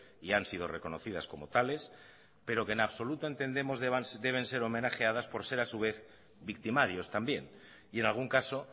y han sido reconocidas como tales pero que en absoluto entendemos deben ser homenajeadas por ser a su vez victimarios también y en algún caso